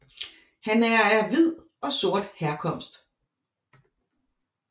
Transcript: Han er af hvid og sort herkomst